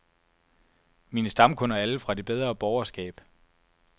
Mine stamkunder er alle fra det bedre borgerskab.